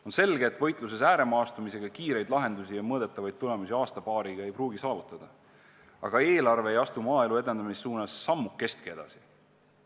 On selge, et võitluses ääremaastumisega kiireid lahendusi ja mõõdetavaid tulemusi aasta-paariga ei pruugi saavutada, aga see eelarve ei astu maaelu edendamise suunas sammukestki edasi.